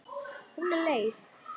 Hún er leið.